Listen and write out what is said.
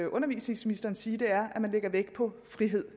undervisningsministeren sige er at man lægger vægt på frihed